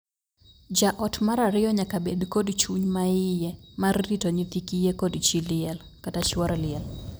Jaot mar ariyo nyaka bed kod chuny maiye mar rito nyithi kiye kod chii liel (chuor liel).